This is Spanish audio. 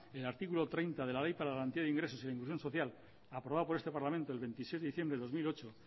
el artículo treinta de la ley para la garantía de ingresos e inclusión social aprobado por este parlamento el veintiséis de diciembre de dos mil ocho